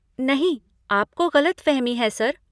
नहीं, आपको गलतफहमी है, सर।